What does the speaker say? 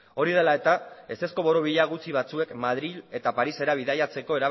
hori dela eta ezezko borobila gutxi batzuek madril eta parisera bidaiatzeko